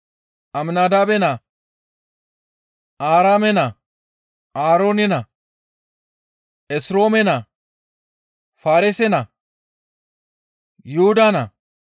Aminadaabe naa, Aaraame naa, Aaroone naa, Esroome naa, Faareese naa, Yuhuda naa,